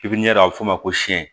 a bɛ fɔ o ma ko